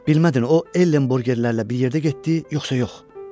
Bilmədin o Ellenbogerlərlə bir yerdə getdi yoxsa yox?